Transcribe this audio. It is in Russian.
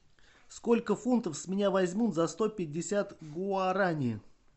сколько фунтов с меня возьмут за сто пятьдесят гуарани